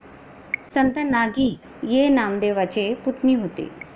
संत नागि ये नामदेवांचे पुतणी होते